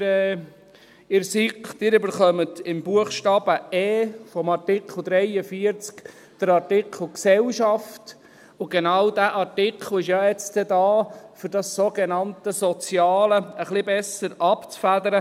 Sie erhalten im Buchstaben e von Artikel 43 den Artikel «Gesellschaft», und genau dieser Artikel ist ja jetzt da, um das sogenannte «Soziale» etwas besser abzufedern.